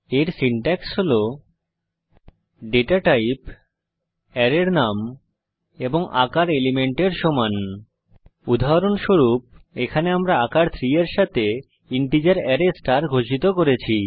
এর সিনট্যাক্স হল data type অ্যারের নাম এবং সাইজ এলিমেন্টস উদাহরণস্বরূপ এখানে আমরা আকার 3 এর সাথে ইন্টিজার অ্যারে স্টার ঘোষিত করেছি